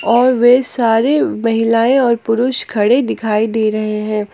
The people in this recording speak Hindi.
और वे सारे महिलाएं और पुरुष खड़े दिखाई दे रहे हैं।